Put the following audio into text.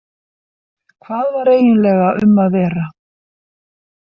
Hvað var eiginlega um að vera?